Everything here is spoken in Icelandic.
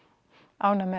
ánægð með